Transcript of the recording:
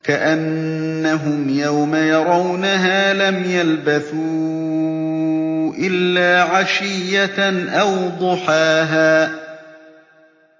كَأَنَّهُمْ يَوْمَ يَرَوْنَهَا لَمْ يَلْبَثُوا إِلَّا عَشِيَّةً أَوْ ضُحَاهَا